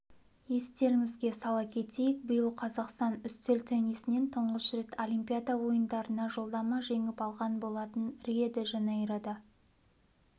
естеріңізге сала кетейік биыл қазақстан үстел теннисінен тұңғыш рет олимпиада ойындарына жолдама жеңіп алған болатын рио-де-жанейрода